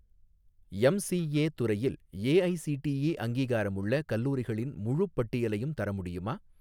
MCA துறையில் AICTE அங்கீகாரமுள்ள கல்லூரிகளின் முழுப் பட்டியலையும் தர முடியுமா?